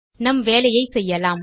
நம் வேலையை செய்யலாம்